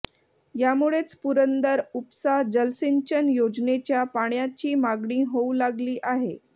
यामुळेच पुरंदर उपसा जलसिंचन योजनेच्या पाण्याची मागणी होऊ लागली आहे